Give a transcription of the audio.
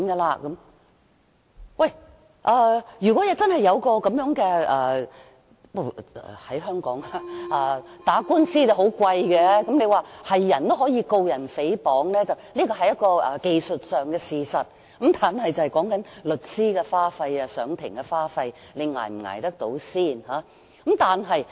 不過，在香港打官司很昂貴，雖說誰也可以控告他人誹謗，這是技術上的事實，但重點在於你能否負擔律師費及上庭的各種開支。